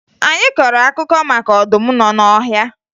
Anyị kọrọ akụkọ maka ọdụm nọ n'ọhịa